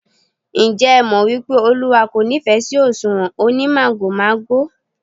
Ǹjẹ́ ẹ mọ̀ wípé Olúwa kò nífẹ̀ sí òṣùwọ̀n onímàgòmágò?